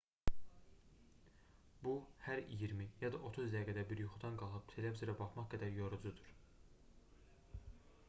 bu hər iyirmi ya da otuz dəqiqədə bir yuxudan qalxıb televizora baxmaq qədər yorucudur